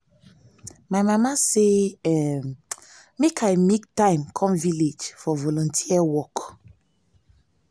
my mama say um make i make time come village for volunteer work